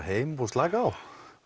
heim og slaka á